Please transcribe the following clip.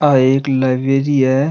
आ एक लाइब्रेरी है।